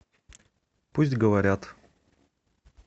пусть говорят